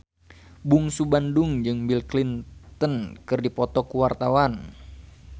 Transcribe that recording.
Bungsu Bandung jeung Bill Clinton keur dipoto ku wartawan